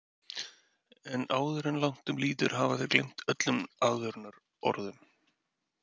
En áður en langt um líður hafa þeir gleymt öllum aðvörunarorðum.